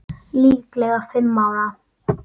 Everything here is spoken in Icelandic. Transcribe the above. Líklega fimm ára.